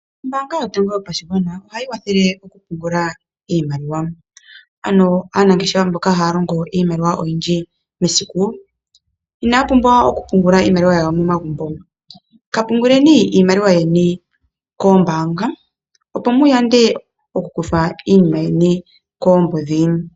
Ombaanga yotango yopashigwana ohayi wathele okupungula iimaliwa, ano aanangeshefa mboka haya longo iimaliwa oyindji mesiku, inaya pumbwa okupungula iimaliwa yawo momagumbo. Kapunguleni iimaliwa yeni koombaanga opo muyande okukuthwa iinima yeni koombudhi.